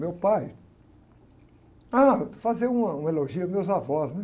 Meu pai... Ah, fazer uma, um elogio aos meus avós, né?